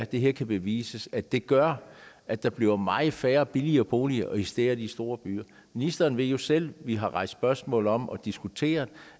det kan bevises at det gør at der bliver meget færre billige boliger især i de store byer ministeren ved selv vi har rejst spørgsmål om og diskuteret